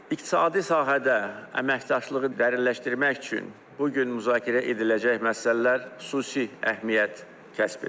İqtisadi sahədə əməkdaşlığı dərinləşdirmək üçün bu gün müzakirə ediləcək məsələlər xüsusi əhəmiyyət kəsb edir.